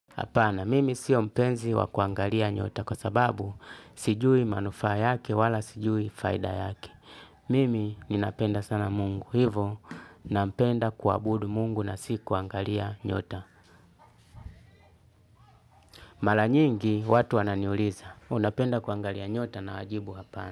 Hapana, mimi sio mpenzi wa kuangalia nyota kwa sababu sijui manufaa yake wala sijui faida yake. Mimi ninapenda sana mungu, hivyo napenda kuabudu mungu na si kuangalia nyota. Mara nyingi watu wananiuliza, unapenda kuangalia nyota na wajibu hapana.